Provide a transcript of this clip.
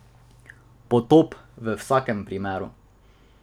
Potop v vsakem primeru.